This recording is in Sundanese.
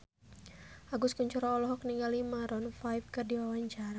Agus Kuncoro olohok ningali Maroon 5 keur diwawancara